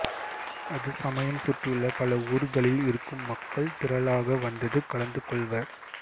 அது சமயம் சுற்றியுள்ள பல ஊர்களில் இருக்கும் மக்கள் திரளாக வந்தது கலந்துகொள்வர்